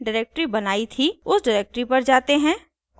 उस डिरेक्टरी पर जाते हैं